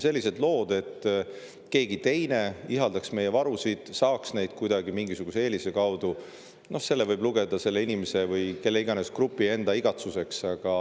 Sellised lood, nagu keegi teine ihaldaks meie varusid ja saaks neid kuidagi mingisuguse eelise kaudu, võib lugeda selle inimese või mis iganes grupi enda igatsuseks.